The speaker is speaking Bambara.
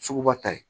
Sugu ba ta ye